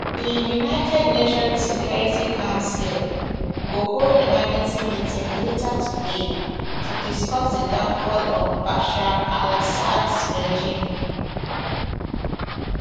di united nations security council go hold emergency meeting later today to discuss di fall of bashar alassads regime